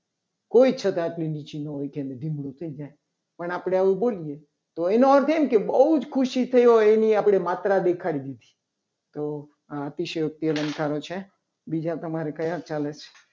કોઈ છતાપી જેમરૂ ચિન્હ હોય. એને નિમણું થઈ જાય પણ આપણે આવું બોલીએ. તો એને આવું થાય કે બહુ જ ખુશી થઈ હોય. એને આપણી માત્રા દેખાડી લીધી. તો આ અતિશયુક્તિ અલંકારો છે. બીજા તમારે કયા ચાલે છે.